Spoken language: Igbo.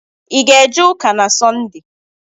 I ga eje ụka na Sọnde?